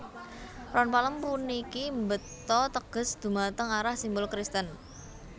Ron palem puniki mbeta teges dhumateng arah simbol Kristen